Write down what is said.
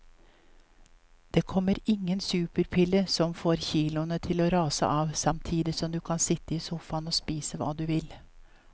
Det kommer ingen superpille som får kiloene til å rase av samtidig som du kan sitte i sofaen og spise hva du vil.